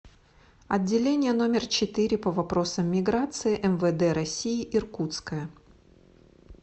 отделение номер четыре по вопросам миграции мвд россии иркутское